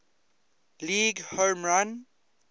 league home run